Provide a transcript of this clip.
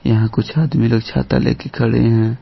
यहां कुछ आदमी लोग छाता लेके खड़े हैं।